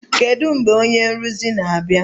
Kedu mgbe onye nrụzi na-abịa?